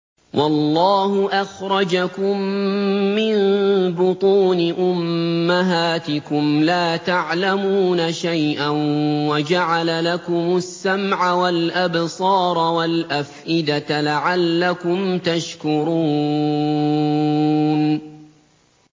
وَاللَّهُ أَخْرَجَكُم مِّن بُطُونِ أُمَّهَاتِكُمْ لَا تَعْلَمُونَ شَيْئًا وَجَعَلَ لَكُمُ السَّمْعَ وَالْأَبْصَارَ وَالْأَفْئِدَةَ ۙ لَعَلَّكُمْ تَشْكُرُونَ